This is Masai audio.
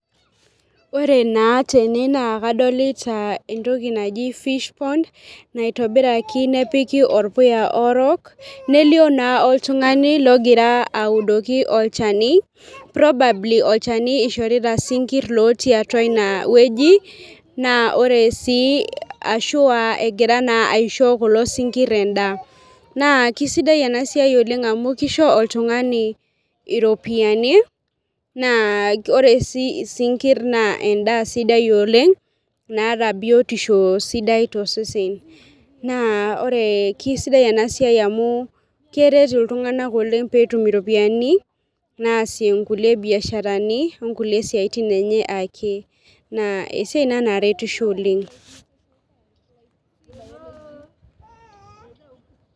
Ore naa tene naa kadolta fish pond naitobira oltung'ani nepik orpuya orok nelioo naa oltung'ani ogira oudoki olchani probably olchani ishorita isinkirr otii atua inewueji naa ore sii ashu egira aisho kulo sinkirr endaa naa kesidai ena siai amu kisho oltung'ani iropiyiani naa ore oshi isinkirr naa endaa sidai oleng' naata biotisho sidai tosesen naa sidai ena siai amu keret iltunganak pee etum iropiyiani naasie mbiasharani okule baa ake neeku esiai ina naretisho oleng'.